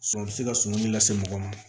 a bɛ se ka sunuli lase mɔgɔ ma